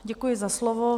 Děkuji za slovo.